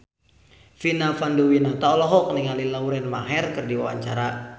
Vina Panduwinata olohok ningali Lauren Maher keur diwawancara